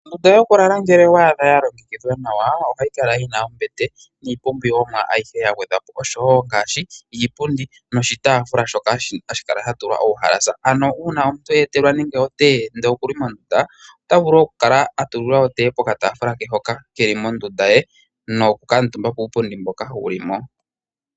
Ondunda yokulala ngele owa adha ya longekidhwa nawa ohayi kala yina ombete niipumbiwomwa ayihe ya gwedhwa po, oshowo ngaashi iipundi noshitaafula shoka hashi kala sha tulwa uuhalasa. Ano uuna omuntu ta eltelwa nande otee ndele okuli mondunda, ota vulu okukala a tulilwa otee pokatafula ke hoka keli mondunda ye, nokukutumba kuupundi mboka wuli mo.